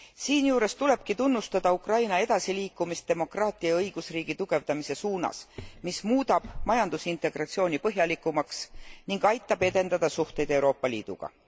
Siinjuures tulebki tunnustada Ukraina edasiliikumist demokraatia ja õigusriigi tugevdamise suunas, mis muudab majandusintegratsiooni põhjalikumaks ning aitab edendada suhteid Euroopa Liiduga.